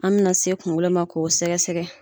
An bɛna se kunkolo ma k'o sɛgɛsɛgɛ